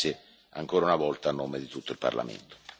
Grazie ancora una volta, a nome di tutto il Parlamento.